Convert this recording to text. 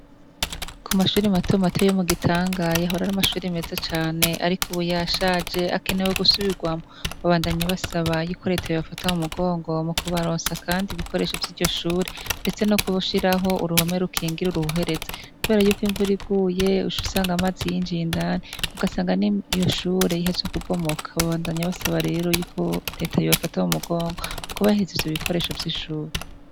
Ku mashuri matomato yo mu Gitanga yahora ari amashuri meze cane ariko ubu yashaje akenewe gusubirwamwo babandanya basaba yuko reta yo bafata mu mugongo mu kubarosa kandi ibikoresho vyiryo shure ndetse no gushiraho uruhome rukingira uruhuherezi kubera y'uko imvura iguye uca usanga amazi y'injiye indani ugasanga n'iyo shure ihatswe ku bomoka babandanya basaba rero yuko reta yo bafata mu mugongo mu kubahereza ivyo ibikoresho vy'ishure.